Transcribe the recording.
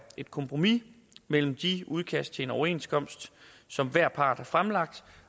et kompromis mellem de udkast til overenskomst som hver part har fremlagt